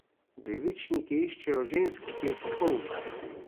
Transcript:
Devičniki iščejo žensko, ki je popolna.